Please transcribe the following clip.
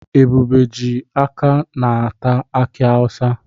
Ebube ji aka ná-ata aki awusa.